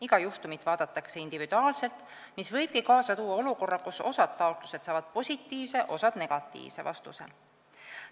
Iga juhtumit vaadatakse individuaalselt, mis võibki kaasa tuua olukorra, kus osa taotlusi saab positiivse, osa negatiivse vastuse.